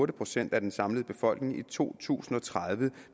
procent af den samlede befolkning i to tusind og tredive